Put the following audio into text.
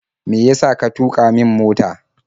Me yasa ka tuƙa min mota?